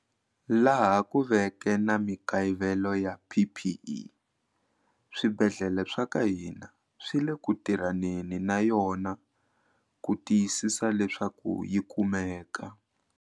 Laha ku veke na mikayivelo ya PPE swibedhlele swa ka hina swi le ku tirhaneni na yona ku tiyisisa leswaku yi kumeka.